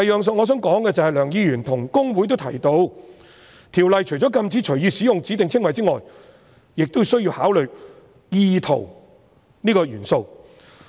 此外，梁議員與公會均提到，《條例》除了禁止隨意使用指定稱謂外，亦需要考慮"意圖"這個元素。